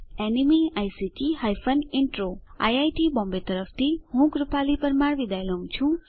iit Bombay તરફથી spoken tutorial project માટે ભાષાંતર કરનાર હું જ્યોતી સોલંકી વિદાય લઉં છું